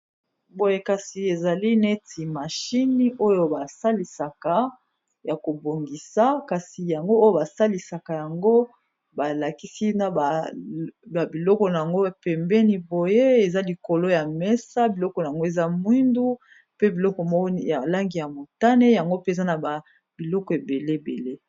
Boye kasi ezali neti mashine oyo basalisaka ya kobongisa kasi yango oyo basalisaka yango balakisi na babiloko na yango pembeni boye eza likolo ya mesa biloko n ango eza mwindu pe biloko ya balangi ya motane yango peza na babiloko ebele ebele.